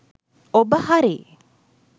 ඔබ හරි